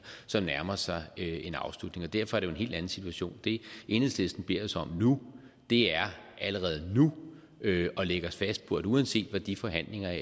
som nærmer sig en afslutning derfor er det jo en helt anden situation det enhedslisten beder os om nu er allerede nu at lægge os fast på at uanset hvad de forhandlinger